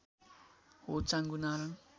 हो चाँगुनारायण